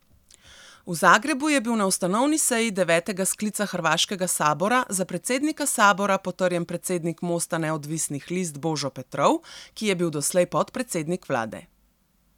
V Zagrebu je bil na ustanovni seji devetega sklica hrvaškega sabora za predsednika sabora potrjen predsednik Mosta neodvisnih list Božo Petrov, ki je bil doslej podpredsednik vlade.